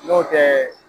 N'o tɛ